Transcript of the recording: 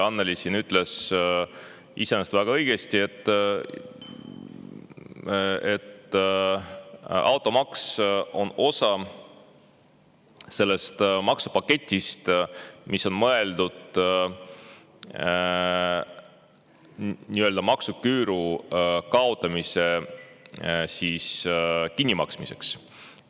Annely siin ütles iseenesest väga õigesti, et automaks on osa sellest maksupaketist, mis on mõeldud nii-öelda maksuküüru kaotamise kinnimaksmiseks.